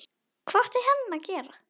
Hvað átti hann að gera?